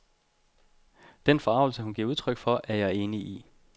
Den forargelse, hun giver udtryk for, er jeg enig i.